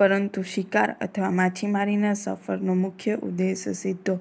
પરંતુ શિકાર અથવા માછીમારીના સફરનો મુખ્ય ઉદ્દેશ સીધો